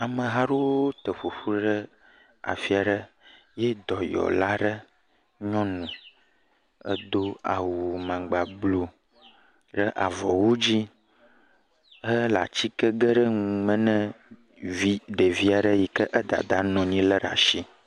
Ameha aɖewo te ƒoƒu ɖe afi aɖe ye dɔyɔla aɖe nyɔnu do awu maŋgba blu ɖe avɔwu dzi hƒle atike gem nɔme na ɖevi aɖe si dadaa lé ɖe asi.